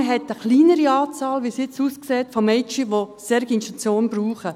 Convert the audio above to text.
So wie es jetzt aussieht, hat man eine kleinere Anzahl an Mädchen, die eine solche Institution brauchen.